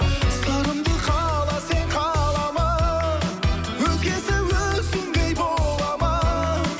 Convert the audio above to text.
сырымды қала сен қалама өзгесі өзіңдей бола ма